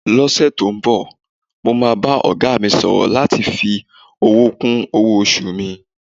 Lọ́sẹ̀ tó ń bọ̀, mo máa bá ọ̀gá mi sọ̀rọ̀ láti fi owó kún owó-oṣù mi.